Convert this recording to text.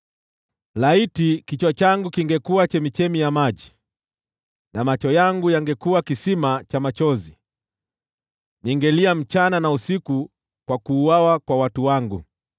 Laiti kichwa changu kingekuwa chemchemi ya maji na macho yangu yangekuwa kisima cha machozi! Ningelia usiku na mchana kwa kuuawa kwa watu wangu.